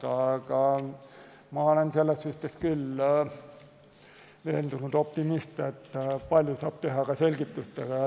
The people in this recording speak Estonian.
Aga ma olen selles suhtes küll veendunud optimist, et palju saab teha ka selgitustega.